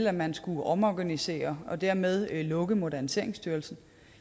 at man skulle omorganisere og dermed lukke moderniseringsstyrelsen